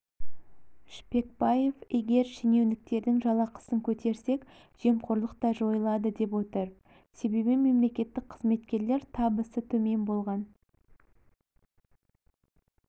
шпекбаев егер шенеуніктердің жалақысын көтерсек жемқорлық та жойылады деп отыр себебі мемлекеттік қызметкерлер табысы төмен болған